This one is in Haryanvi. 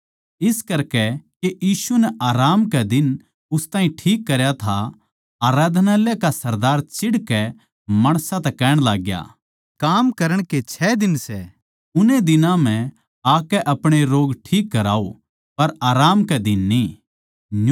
इस करकै के यीशु नै आराम कै दिन उस ताहीं ठीक करया था आराधनालय का सरदार चीड़कै माणसां तै कहण लाग्या काम करण के छ दिन सै उन ए दिनां म्ह आकै अपणे रोग ठिक कराओ पर आराम कै दिन न्ही